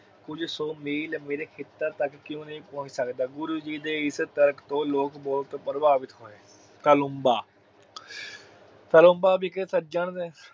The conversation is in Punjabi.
ਕੁਜ ਸੋ ਮੀਲ ਮੇਰੇ ਖੇਤਾਂ ਵੇਚ ਕਿਉਂ ਨਹੀਂ ਪਹੁੰਚ ਸਕਦਾ ਹੈ ਗੁਰੂ ਜੀ ਦੇ ਤਰਕ ਤੋਂ ਲੋਕ ਬਹੁਤ ਪ੍ਰਵਾਵਿਤ ਹੋਏ। ਹਲੁਬਾ ਹਲੁਬਾ ਇਕ ਸੱਜਣ